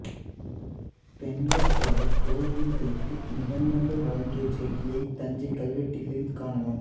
பெண்கள் பலர் கோவில்களுக்கு நிவந்தங்கள் வழங்கிய செய்தியைக் தஞ்சைக் கல்வெட்டுகளில் காணலாம்